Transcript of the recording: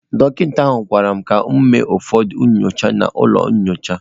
Dọkịta ahụ gwara m ka m mee ụfọdụ nyocha n'ụlọ nyocha.